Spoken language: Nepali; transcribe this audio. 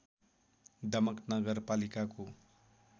दमक नगरपालिकाको